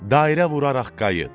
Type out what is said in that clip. Dairə vuraraq qayıt.